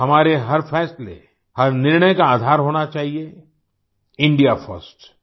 हमारे हर फ़ैसले हर निर्णय का आधार होना चाहिए इंडिया First